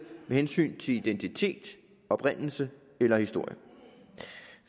med hensyn til identitet oprindelse eller historie